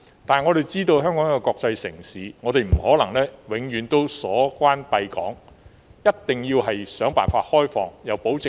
但是，香港既然是國際城市，我們便不可能永遠都鎖關閉港，一定要想辦法開放邊境，又要保證安全。